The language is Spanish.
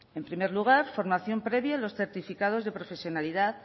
en primer lugar formación previa en los certificados de profesionalidad